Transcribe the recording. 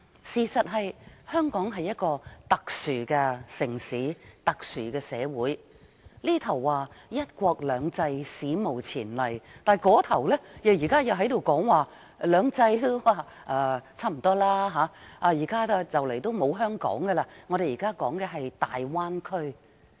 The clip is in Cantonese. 事實上，香港是一個特殊的城市、特殊的社會，這邊廂說"一國兩制"是史無前例，那邊廂卻說現在已差不多不是"兩制"，很快便沒有香港，因為現時說的是大灣區。